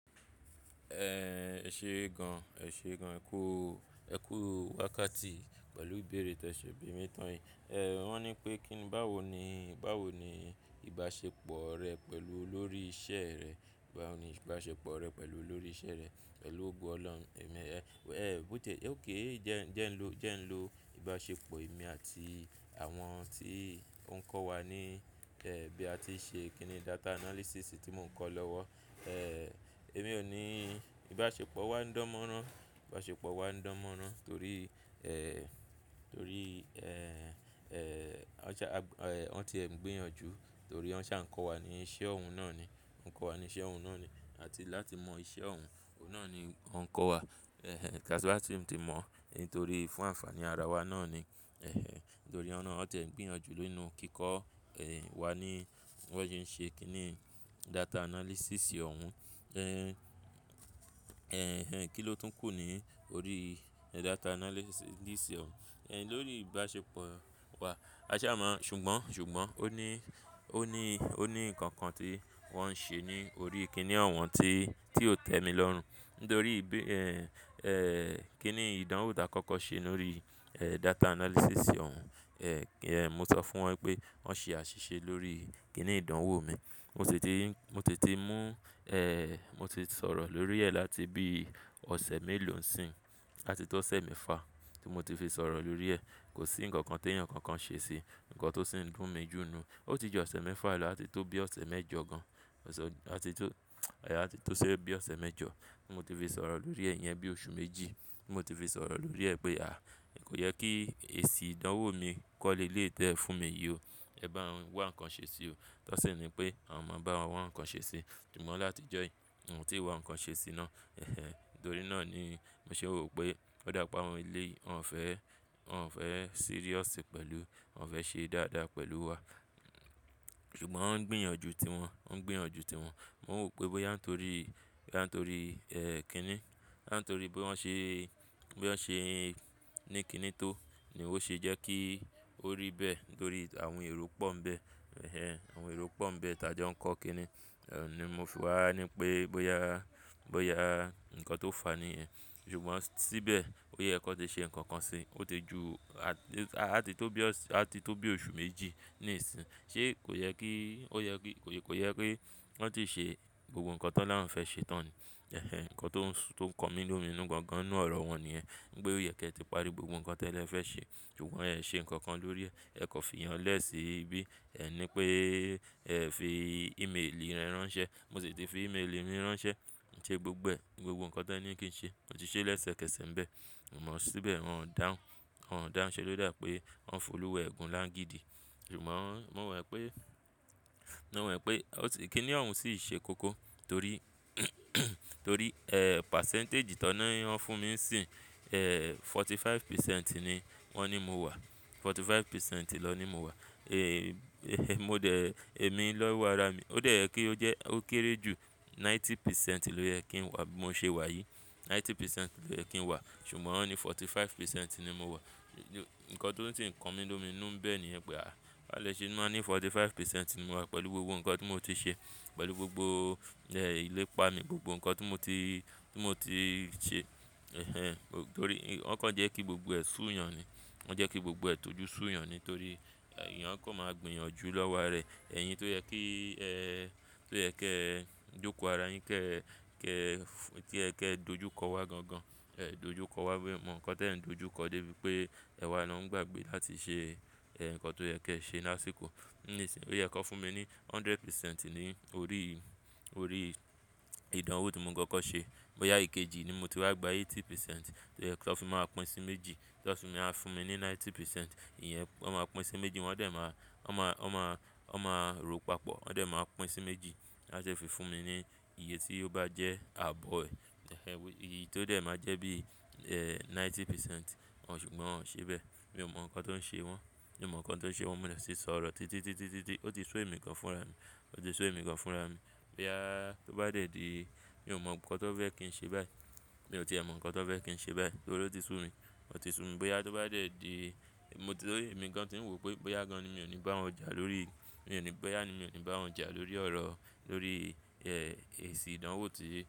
Ẹ ṣe gan, ẹ ṣe gan ẹ kú, ẹ kú wákàtí pẹ̀lú ìbéèrè tí ẹ ṣẹ̀ bí mi tán yìí. Ẹ̀ wọ́n ní pé kí ni báwo ni, báwo ni ìbáṣepọ̀ rẹ pẹ̀lú olórí iṣẹ́ rẹ? Báwo ni ìbáṣepọ̀ rẹ pẹ̀lú olórí iṣẹ́ rẹ pẹ̀lú ogo Ọlọ́run? Ẹ̀mí ẹ, ẹ, ók jẹ́ n lo, jẹ́ n lo ìbáṣepọ̀ èmi àti àwọn tí ó ń kọ́ wa ní, ẹ́ bí a ti ń ṣe kí ni data analysis tí mò ń kọ́ lọ́wọ́. Ẹ̀, èmi ò ní ìbáṣepọ̀ wa ń dánmọ́rán, ìbáṣepọ̀ wa ń dánmọ́rán torí, ẹ́ torí, ẹ́ ẹ́, won ṣa, wọ́n ti ẹ̀ ń gbìyànjú torí wọ́n ṣà ń kọ́ wa ní iṣẹ́ ọ̀hún náà ni. Wọ́n ń kọ́ wa ní iṣẹ́ ọ̀hún náà ni àti láti mọ iṣẹ́ ọ̀hún òun náà ni wọ́n ń kọ́ wa. Ẹ̀hẹn, káṣú wá tí ń mọ̀ torí fún ànfàní ara wa náà ni. Ẹ̀hẹn, torí ọ̀nà ọ tiẹ ń gbìyànjú nínú kíkọ́, ẹ́ wa ní bí wọ́n ṣe ń ṣe kí ni data analysis ọ̀hún. Ẹ̀hn, ẹ̀hẹn, kí ló tún kù ní orí data analysis yìí sì ọ̀hún. Ẹ̀hn, lórí ìbáṣepọ̀ wa. Aṣá máa ṣùgbọ́n, ṣùgbọ́n ó ní, ó ní, ó ní nǹkan kan tí wọ́n ṣe ní orí ìkíni ọ̀hún tí, tí ó tẹ́mi lọ́run. Nítorí bí, ẹ́ ẹ́ kí ni ìdánwò tí a kọ́kọ́ ṣe lórí, ẹ́ data analysis ọ̀hún. Ẹ̀ ẹ́ mo sọ fún wọn pé wọ́n ṣe àṣìṣe lórí kí ni ìdánwò mi. Mo sì ti, mo sì ti mú, ẹ́ mo ti sọ̀rọ̀ lórí ẹ́ láti bí ọ̀sẹ̀ méèló nsii. Ati tó osẹ̀ méfà tí mo ti fi sọ̀rọ̀ lórí ẹ́. Kò sí ǹkan kan tí ẹ̀yàn kan kan ṣe sí. Ǹkan tó sì ń dùn mi jù nu. Ó ti jù ọ̀sẹ̀ mẹ́fà lọ áti tó bí ọ̀sẹ̀ mẹ́jọ gan. Ọ̀sẹ̀, láti tó, ẹ́ áti tó sẹ́ bí ọ̀sẹ̀ mẹ́jọ tí mo ti fi sọ̀rọ̀ lórí ẹ̀ iyẹn bí oṣù méjì. Tí mo ti fi sọ̀rọ̀ lórí ẹ́ pé à, kò yẹ kí èsì ìdánwò mi kó leleyi tí ẹ fún mi yí o. Ẹ bá wọn wá ǹkan ṣe sí o. Tí wọn sì ni pé àwọn máa bá wọn wá ǹkan ṣe sí. Ṣugbọn láti jọ́ yí, wọn tí wá ǹkan ṣe sí náà. Ẹ̀hẹn, nítorí náà ni mo sì wò pé ó dá pé awọn eléyìí. Wọn ò fẹ́, wọn ò fẹ́ serious pẹ̀lú, wọn ò fẹ́ ṣe dáadáa pẹ̀lú wa. Ṣùgbọ́n wọ́n ń gbìyànjú ti wọn, wọ́n ń gbìyànjú ti wọn. Mo wò pé bóyá nítorí, bóyá nítorí, ẹ́ kí ni, bóyá nítorí bó wọ́n ṣe, bí wọ́n ṣe ẹ́ ní kí ni tó ni ó ṣe jẹ́ kí ó rí bẹ́ẹ̀ tórí àwọn èrò pọ́n ń bẹ. Ẹ̀hẹn, àwọn èrò pọ́n ń bẹ tí a jọ n kọ́ kí ni, ẹ́ ni mo fi wà á ní pé bóyá, bóyá ǹkan tó fà á ni ẹ́. Ṣùgbọ́n síbẹ̀ ó yẹ kó ti ṣe ǹkan kan sí i. Ó ti ju a-a-a áti tó bí ọ̀sẹ̀, áti tó bí oṣù méjì ní ìsìn. Sé kò yẹ kí, ó yẹ kí, kò yẹ kí wọ́n ti ṣe gbogbo ǹkan tán láwọn fẹ́ ṣe tán ni. Ẹ̀hẹn, ǹkan tó ń su, tó ń kan mí lómìnú gan gan ní ọ̀rọ̀ wọn ni ẹ́. Ní pé ó yẹ kí ẹ ti parí gbogbo ǹkan tí ẹ ni ẹ fẹ́ ṣe. Ṣùgbọ́n ẹ ẹ̀ ṣe ǹkan kan lórí ẹ. Ẹ kò fi ìyanlẹ́ sì bí ẹ ní pé ẹ fi í-ímélì rẹ ránṣẹ́. Mo sì ti fi í-ímélì mi ránṣẹ́. Ṣẹ́ gbogbo ẹ̀, gbogbo ǹkan tá ní kí n ṣe, mo ti ṣe lẹ́sẹ̀kẹsẹ̀ ń bẹ. A mọ̀ síbẹ̀ wọn dáhùn, wọn dáhùn ṣe ló dà pé wọn ń fi oluwa ẹgun lágidi. Ṣugbọn, mo mọ pé, mo mọ e pé ó ti, kí ni ọ̀hún sì ṣe kókó torí, torí, ẹ́ pàsẹ́ǹtẹ̀jì tó n ni wọn fún mi sì, ẹ́ forty five percent ni wọ́n ní mo wà. Forty five percent lọ ní mo wà. Ẹ̀hẹn, mo dẹ̀, èmi ló wà ra mi. Ó dẹ́ ẹ́ kí ó jẹ́ ó kéré jù ninety percent ló yẹ kí n wà bí mo ṣe wà yìí. Ninety percent ló yẹ kí n wà. Ṣùgbọ́n wọ́n ní forty five percent ni mo wà. Ǹkan tó ń ṣe ǹkan mí lómìnu níbẹ̀ ni ẹ pé à. Bá lè ṣe ẹ máa ní forty five percent ni mo wà pẹ̀lú gbogbo ǹkan tí mo ti ṣe. Pẹ̀lú gbogbo, ẹ́ ìlépa mi, gbogbo ǹkan tí mo ti, tí mo ti ṣe. Ẹ̀hẹn, torí wọn kàn jẹ́ kí gbogbo ẹ̀ ṣú yan ni. Wọn jẹ́ kí gbogbo ẹ̀ tọ́jú ṣú yan ni torí èyán a kàn máa gbìyànjú lọ́wọ́ àrá ẹ̀. Ẹ̀yin tó yẹ kí, ẹ́ tó yẹ kí ẹ jókòó ara yín kí ẹ, kí ẹ, kí ẹ kí ẹ dojú kọ wá gan gan. Ẹ dojú kọ wá mí o mọ ǹkan tí ẹ̀ ń dojú kọ dé bí pé ẹwà lọ ń gbàgbé láti ṣe, ẹ́ ǹkan tó yẹ kí ẹ ṣe lásìkò. Nísìnyí ó yẹ kó fún mi ní hundred percent ní orí, orí ìdánwò tí mo kọ́kọ́ ṣe. Bóyá ikejì ni mo ti wá gba eighty percent tó yẹ tí a fi máa pín sí méjì. Tí wọn fi máa fún mi ní ninety percent, ìyẹn wọ́n máa pín sí méjì, wọ́n dẹ̀ máa, wọ́n máa, wọ́n máa, wọ́n máa rò papọ̀. Wọ́n dẹ̀ máa pín sí méjì wà dẹ fi fún mi ní iye tí ó bá jẹ́ àbọ̀ ẹ́. Ẹ̀hẹn, iyí tó dẹ̀ máa jẹ́ bí, ẹ́ ninety percent. Ṣùgbọ́n wọ́n ò ṣe bẹ́ẹ̀. Mi ò mọ̀ ǹkan tó ń ṣe wọn. Mi ò mọ̀ ǹkan tó ń ṣe wọn, mo sì ń sọ̀rọ̀ títí, títí, títí. Ó ti sú èmi gan fúnra mi. Ó ti sú èmi kan fúnra mi. Bóyá tó bá dé díì, mi ò mọ̀ ǹkan tó fẹ́ kí n ṣe báyìí. Mi ò ti mọ̀ ǹkan tó fẹ́ kí n ṣe báyìí torí ó ti sú mi. Ó ti sú mi bóyá tó bá dé díì. Mo ti, èmi gan tí ń wò pé bóyá gan ni mi ò ní bá wọn jà lórí, mi ò ní bóyá ni mi ò ní bá wọn jà lórí ọ̀rọ̀, lórí, ẹ́ èsì ìdánwò tí.